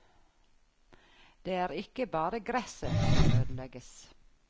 Det er ikke bare gresset som ødelegges.